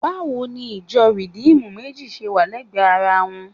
Báwo ni ìjọ Rìdíìmù méjì ṣe wà lẹ́gbẹ̀ẹ́ ara wọn?